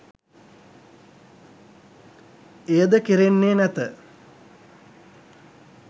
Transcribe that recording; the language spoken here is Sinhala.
එයද කෙරෙන්නේ නැත.